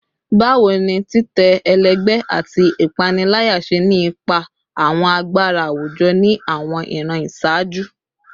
Bawo ni titẹ ẹlẹgbẹ ati ipanilaya ṣe ni ipa awọn agbara awujọ ni awọn iran iṣaaju?